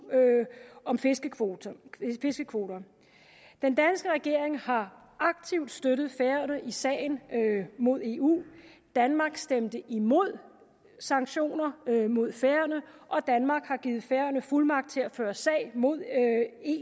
om fiskekvoter fiskekvoter den danske regering har aktivt støttet færøerne i sagen mod eu danmark stemte imod sanktioner mod færøerne og danmark har givet færøerne fuldmagt til at føre sag mod